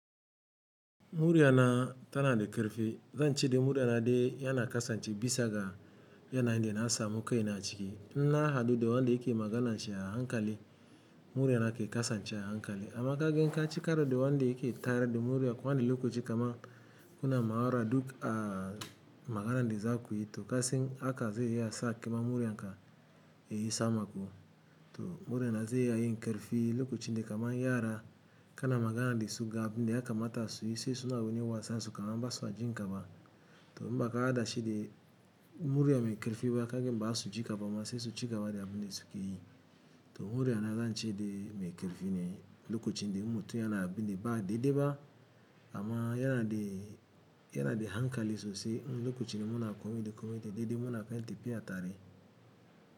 Muriya na tana da ƙarfi. Zan ce dai muriya na dai yana kasance bisa ga yanayin da na samu kai na ciki. In na haɗu da wanda yake maganan shi a hankali. Muriya na ke kasance a hankali amma kaga in ci karar da wanda yake tayar da muriya. Ko wani lokaci kaman kuna ma'aura duk a maganan da za ku yi to kasen haka zai iya sa kaima muriyan ka yayi sama kuma. To muriya na zai iya yin ƙarfi lokacin da kaman yara kana magana da su ga abin da yaka mata su yi sai suna wani wasa su kaman ba su jin ka ma. To in ba ka hada shi da muriya mai ƙarfi ba kagan ba za su ji kaba ma sai su ci gaba da abin da suke yi. To muriya na zan ce dai mai ƙarfi ne lokacin da in mutum yana abin da ba daidai ba amma yana da, yana da hankali sosai. Lokacin da muna kome da kome daidai muna kan tafiya tare.